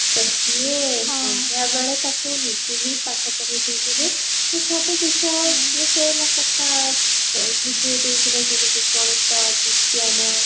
ତ ସିଏ ସନ୍ଧ୍ଯା ବେଳେ ତାକୁ ନିଜେ ହିନ ପାଠ ପଢେଇ ଦଉଥିଲେ ତ ସବୁ ବିଷୟ ସେ ମୋ କକା ବୁଝେଇ ଦଉଥିଲେ ଯେମିତି ଗଣିତ ବିଜ୍ଞାନ